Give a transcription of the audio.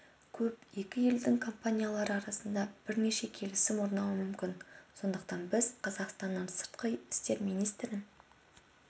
көп екі елдің компаниялары арасында бірнеше келісім орнауы мүмкін сондықтан біз қазақстанның сыртқы істер министрін